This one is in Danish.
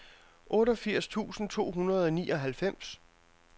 otteogfirs tusind to hundrede og nioghalvfems